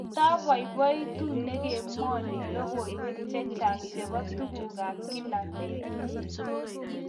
Kataboiboitu ningemwoni logoywek chechang chebo tugukab kila betut